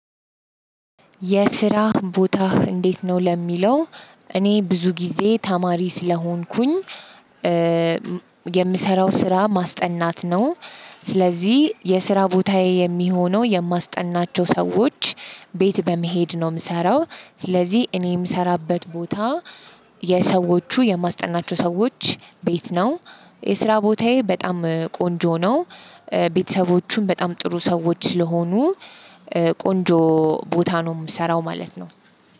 የስራህ ቦታህ እንዴት ነው ለሚለው? እኔ ብዙ ጊዜ ተማሪ ስለሆንኩኝ የምሰራው ስራ ማስጠናት ነው። ስለዚህ የስራ ቦታዬ የሚሆነው የማስጠናቸው ሰዎች ቤት በመሄድ ነው ምሰራው ስለዚህ እኔ ምሰራበት ቦታ የሰዎቹ የማስጠናቸው ሰዎች ቤት ነው። የስራ ቦታዬ በጣም ቆንጆ ነው። ቤተሰቦቹም በጣም ጥሩ ሰዎች ስለሆኑ ቆንጆ ቦታ ነው ምሰራው ማለት ነው።